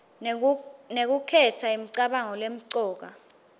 ngekukhetsa imicabango lemcoka